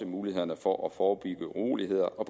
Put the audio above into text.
mulighederne for at forebygge uroligheder og